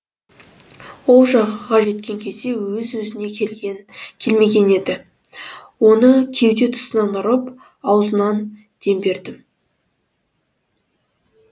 ол жағаға жеткен кезде өз өзіне келмеген еді оның кеуде тұсынан ұрып аузынан дем бердім